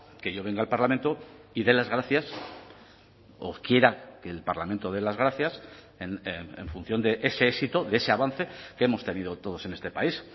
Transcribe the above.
que yo venga al parlamento y dé las gracias o quiera que el parlamento dé las gracias en función de ese éxito de ese avance que hemos tenido todos en este país